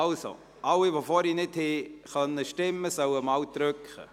Also: Alle, die ihre Stimme nicht abgeben konnten, sollen es nun erneut versuchen.